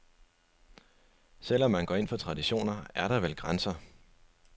Selv om man går ind for traditioner, er der vel grænser.